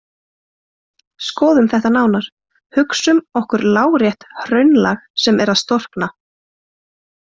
Skoðum þetta nánar: Hugsum okkur lárétt hraunlag sem er að storkna.